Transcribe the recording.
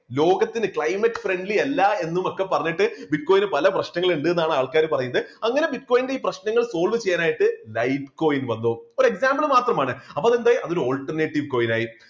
ലോകത്തിന് climate friendly അല്ല എന്നും ഒക്കെ പറഞ്ഞിട്ട് bitcoin പല പ്രശ്നങ്ങൾ ഉണ്ടെന്നാണ് ആൾക്കാർ പറയുന്നത് അങ്ങനെ bitcoin പ്രശ്നങ്ങൾ solve ചെയ്യാനായിട്ട് light coin വന്നു ഒരു example മാത്രമാണ് അപ്പോ അത് എന്തായി ഒരു alternative coin ആയി